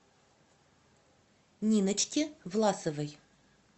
ниночки власовой